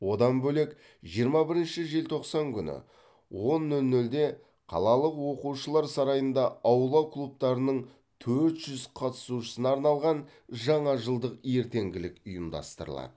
одан бөлек жиырма бірінші желтоқсан күні он нөл нөлде қалалық оқушылар сарайында аула клубтарының төрт жүз қатысушысына арналған жаңа жылдық ертеңгілік ұйымдастырылады